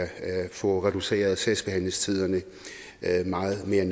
få reduceret sagsbehandlingstiderne meget mere